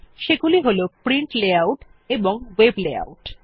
সেগুলি হল print layout এবং ভেব লেআউট